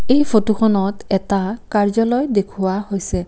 এই ফটোখনত এটা কাৰ্য্যালয় দেখুওৱা হৈছে।